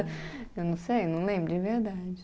Eu não sei, não lembro de verdade.